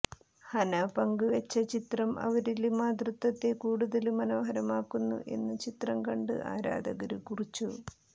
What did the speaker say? ഹനാ പങ്കുവച്ച ചിത്രം അവരിലെ മാതൃത്വത്തെ കൂടുതല് മനോഹരമാക്കുന്നു എന്ന് ചിത്രം കണ്ട് ആരാധകര് കുറിച്ചു